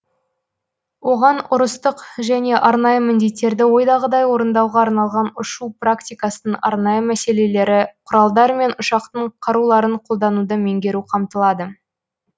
оған ұрыстық және арнайы міндеттерді ойдағыдай орындауға арналған ұшу практикасының арнайы мәселелері құралдар мен ұшақтың қаруларын қолдануды меңгеру қамтылады